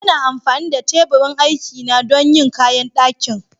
Yana amfani da teburin aikina don yin kayan daƙin.